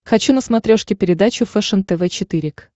хочу на смотрешке передачу фэшен тв четыре к